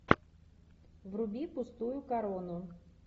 вруби пустую корону